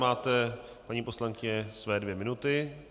Máte, paní poslankyně, své dvě minuty.